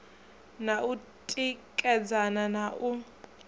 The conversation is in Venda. na u tikedzana na u